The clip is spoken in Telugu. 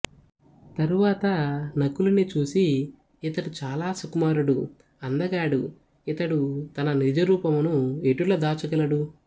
తరువాత నకులుని చూసి ఇతడు చాలా సుకుమారుడు అందగాడు ఇతడు తన నిజ రూపమును ఎటుల దాచగలడు